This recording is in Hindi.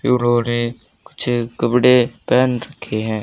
उन्होंने कुछ कपड़े पहन रखे हैं।